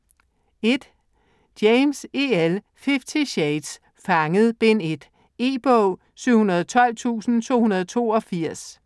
James, E. L.: Fifty shades: Fanget: Bind 1 E-bog 712282